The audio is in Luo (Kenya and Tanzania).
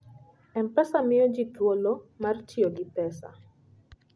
M-Pesa miyo ji thuolo mar tiyo gi pesa.